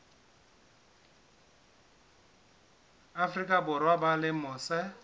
afrika borwa ba leng mose